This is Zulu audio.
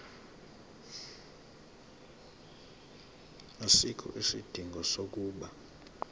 asikho isidingo sokuba